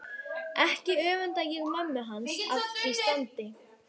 Ekki öfunda ég mömmu hans af því standi